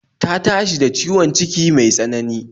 Ta tashi ciwon ciki mai tsanani